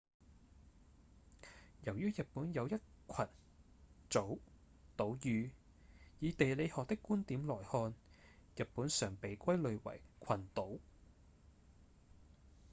由於日本有一群/組島嶼以地理學的觀點來看日本常被歸類為「群島」